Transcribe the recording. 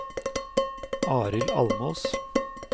Arild Almås